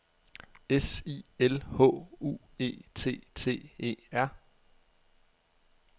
S I L H U E T T E R